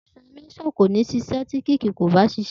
Tirasimísàn kò ní ṣiṣẹ́ ti kííkì ko ba ṣiṣẹ́